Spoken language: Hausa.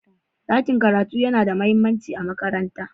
ɗakin karatu yana da mahimmanci a makaranta